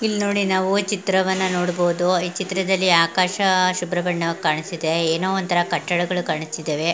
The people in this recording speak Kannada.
ಇಲ್ನೋಡಿ ನಾವು ಚಿತ್ರವನ್ನು ನೋಡಬಹುದು ಈ ಚಿತ್ರದಲ್ಲಿ ಆಕಾಶ ಶುಭ್ರ ಬಣ್ಣ ಕಾಣಿಸ್ತಿದೆ ಏನೋ ಒಂದ್ ತರ ಕಟ್ಟಡಗಳು ಕಾಣಿಸ್ತಿದೆ.